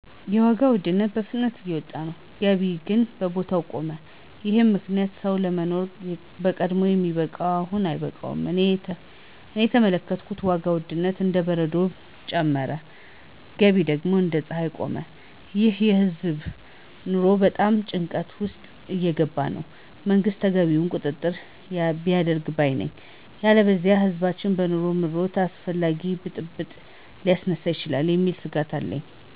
የዋጋ ውድነት በፍጥነት እየወጣ ነው፣ ገቢ ግን በቦታው ቆመ፤ ይህም ምክንያት ሰው ለማኖር በቀድሞ የሚበቃው አሁን አይበቃም። እኔ እየተመለከትኩት ዋጋ ውድነት እንደ በረዶ ጨመረ፣ ገቢ ግን እንደ ፀሐይ ቆመ። ይህ የህዝብ ኑሮን በጣም ጭንቀት ውስጥ እያስገባ ነው። መንግስት ተገቢውን ቁጥጥር ያድርግ ባይ ነኝ። ያለበለዚያ ህዝባችን በኑሮ ምሮት አላስፈላጊ ብጥብጥ ሊያስነሳ ይችላል የሚል ስጋት አለኝ።